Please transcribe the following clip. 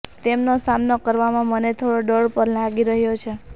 તેમનો સામનો કરવામાં મને થોડો ડર પણ લાગી રહ્યો છે